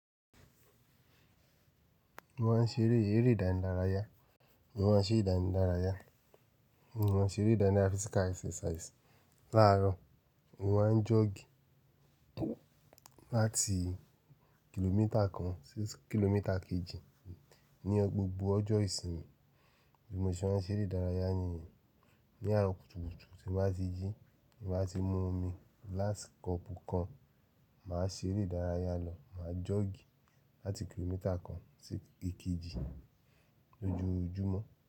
Mo máa ń ṣe eré, eré ìdáni larayá. Mo máa ń ṣe ìdáni larayá. Mo ma ṣe eré ìdáni lara physical exercise. Láàárọ̀, mo máa ń joggi láti kìlómítà kan sí kìlómítà kejì. Ní gbogbo ọjọ́ ìsinmi bí mo ṣe máa ń ṣe ìdárayá ní yen. Ni àárọ̀ kùtùkùtù tí m bá ti jí, tí m bá ti mú omi glass cup kan, mà á ṣe eré ìdárayá lọ. Mà á joggi láti kìlómítà kan sí èkejì lójoojúmọ́